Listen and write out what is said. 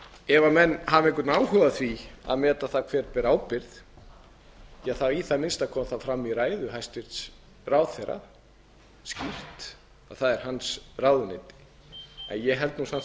ef menn hafa einhvern áhuga á því að meta það hver ber ábyrgð ja í það minnsta kom það skýrt fram í ræðu hæstvirts ráðherra að það er ráðuneyti hans ég held samt